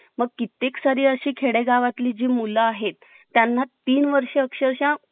मग कित्येक साठी अशी खेडेगावातली जी मुलं आहेत त्यांना तीन वर्ष अक्षरशः